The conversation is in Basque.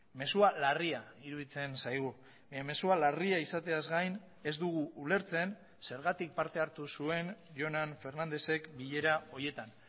mezua larria iruditzen zaigu mezua larria izateaz gain ez dugu ulertzen zergatik parte hartu zuen jonan fernandezek bilera horietan